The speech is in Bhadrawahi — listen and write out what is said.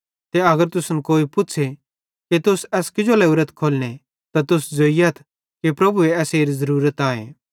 ते अगर तुसन कोई पुच़्छ़े कि तुस एस किजो लोरेथ खोलने त तुस ज़ोइयथ कि प्रभुए एसेरी ज़रूरत आए